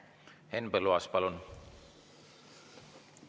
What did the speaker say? Henn Põlluaas, palun!